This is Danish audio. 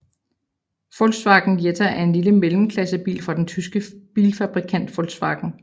Volkswagen Jetta er en lille mellemklassebil fra den tyske bilfabrikant Volkswagen